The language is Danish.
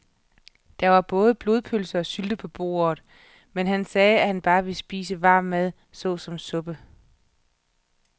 Der var både blodpølse og sylte på bordet, men han sagde, at han bare ville spise varm mad såsom suppe.